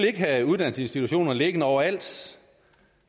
ikke have uddannelsesinstitutioner liggende overalt så